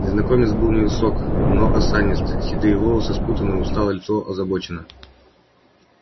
незнакомец был невысок но осанист седые волосы спутаны усталое лицо озабочено